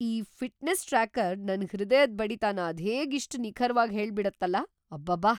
ಈ fitness tracker ನನ್ ಹೃದಯದ್ ಬಡಿತನ ಅದ್ಹೇಗ್‌ ಇಷ್ಟ್ ನಿಖರ್ವಾಗ್ ಹೇಳ್ಬಿಡತ್ತಲ! ಅಬ್ಬಬ್ಬಾ!